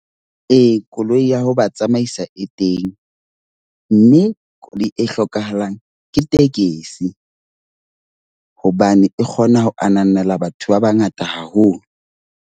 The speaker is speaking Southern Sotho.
Ee, koloi ya ho ba tsamaisa e teng. Mme koloi e hlokahalang ke tekesi hobane e kgona ho ananela batho ba bangata haholo.